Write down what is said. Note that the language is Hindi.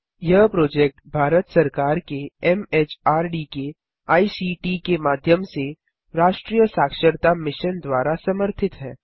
यह प्रोजेक्ट भारत सरकार के एमएचआरडी के आईसीटी के माध्यम से राष्ट्रीय साक्षरता मिशन द्वारा समर्थित है